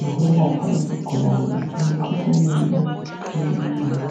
lokwelapha izigulane emikhuhlaneni ehlukeneyo